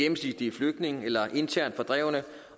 flygtninge eller internt fordrevne